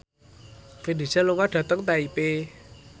Vin Diesel lunga dhateng Taipei